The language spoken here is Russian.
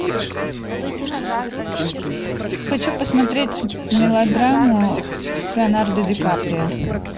хочу посмотреть мелодраму с леонардо ди каприо